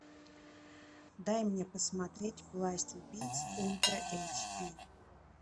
дай мне посмотреть власть убийц ультра эйч ди